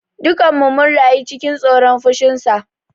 Dukanmu mun rayu cikin tsoron fushinsa.